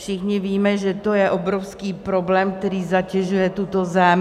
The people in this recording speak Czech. Všichni víme, že to je obrovský problém, který zatěžuje tuto zemi.